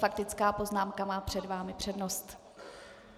Faktická poznámka má před vámi přednost.